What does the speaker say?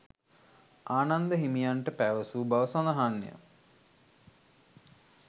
ආනන්ද හිමියන්ට පැවසූ බව සඳහන් ය.